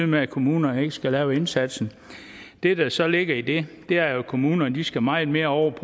med at kommunerne ikke skal lave indsatsen det der så ligger i det er at kommunerne skal meget mere over